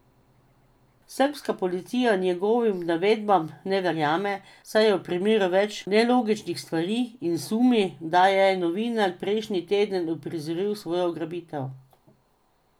Srbska policija njegovim navedbam ne verjame, saj je v primeru več nelogičnih stvari in sumi, da je novinar prejšnji teden uprizoril svojo ugrabitev.